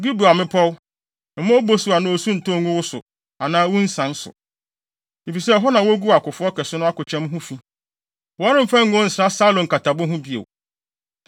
“Gilboa mmepɔw, mma obosu anaa osu ntɔ ngu wo so anaa wo nsian so. Efisɛ ɛhɔ na woguu ɔkofo kɛse no akokyɛm ho fi; wɔremfa ngo nsra Saulo nkatabo ho bio.